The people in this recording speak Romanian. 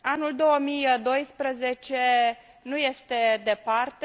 Anul 2012 nu este departe.